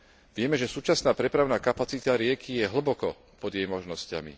Vieme, že súčasná prepravná kapacita rieky je hlboko pod jej možnosťami.